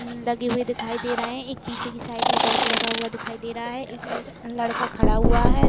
लगे हुए दिखाई दे रहे हैं। एक पीछे की साइड में बल्ब लगा हुआ दिखाई दे रहा है। एक लड़-लड़का खड़ा हुआ है।